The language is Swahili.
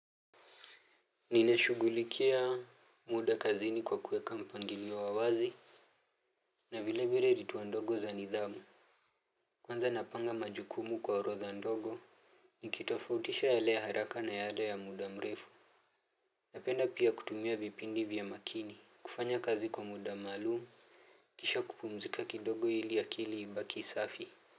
Ninashugulikia muda kazini kwa kueka mpangilio wazi. Na vilevile vituwa ndogo za nidhamu kwanza napanga majukumu kwa orodha ndogo. Nikitofautisha yale ya haraka na yale ya muda mrefu napenda pia kutumia vipindi vya makini kufanya kazi kwa muda maalum. Kisha kupumzika kidogo ili akili ibaki safi.